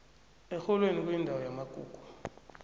erholweni kuyindawo yamagugu